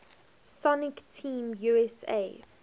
sonic team usa